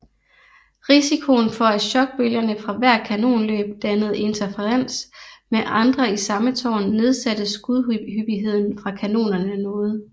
Risikoen for at chokbølgerne fra hvert kanonløb dannede interferens med andre i samme tårn nedsatte skudhyppigheden fra kanonerne noget